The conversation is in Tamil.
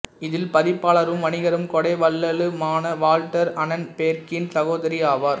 இவர் பதிப்பாளரும் வணிகரும் கொடைவள்ளலுமான வால்ட்டர் அனன்பேர்க்கின் சகோதரி ஆவார்